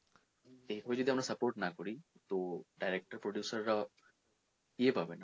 এরপর যদি আমরা support না করি তো director producer রা ইয়ে পাবে না মানে